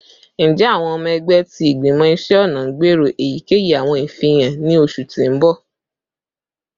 Njẹ awọn ọmọ ẹgbẹ ti Igbimọ Iṣẹ ọna n gbero eyikeyi awọn ifihan ni oṣu ti n bọ?